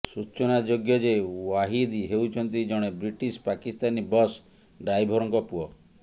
ସୂଚନା ଯୋଗ୍ୟ ଯେ ଜାଓ୍ବିଦ୍ ହେଉଛନ୍ତି ଜଣେ ବ୍ରିଟିସ୍ ପାକିସ୍ତାନୀ ବସ୍ ଡ୍ରାଇଭର୍ଙ୍କ ପୁଅ